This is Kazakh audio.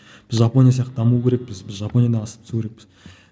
біз жапония сияқты даму керекпіз біз жапониядан асып түсу керекпіз